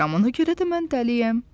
Ona görə də mən dəliyəm.